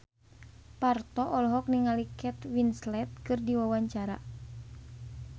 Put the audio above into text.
Parto olohok ningali Kate Winslet keur diwawancara